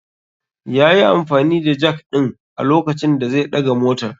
Yayi amfani da Jak din a lokacin da zai daga motar.